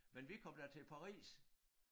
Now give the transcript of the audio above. Men vi kom da til Paris